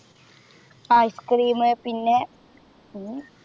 ആഹ് Ice cream പിന്നെ